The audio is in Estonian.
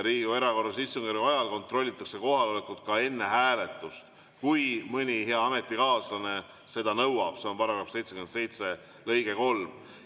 Riigikogu erakorralise istungjärgu ajal kontrollitakse kohalolekut ka enne hääletust, kui mõni hea ametikaaslane seda nõuab, see on § 77 lõige 3.